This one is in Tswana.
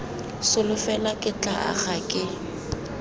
solofela ke tla aga ke